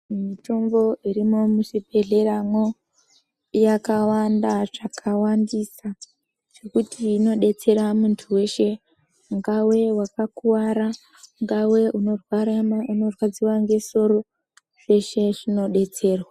Mitombo irimo muzvibhedhleramwoo, yakawanda zvakawandisaa zvekuti inodetsera muntu weshe , ungawe wakakuwara, ungawe unorwadziwaa ngesoro zveshe zvinodetserwaa.